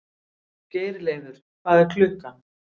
Geirleifur, hvað er klukkan?